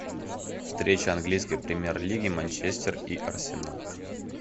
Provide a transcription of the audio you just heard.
встреча английской премьер лиги манчестер и арсенал